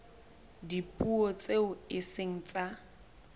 dipuo tseo e seng tsa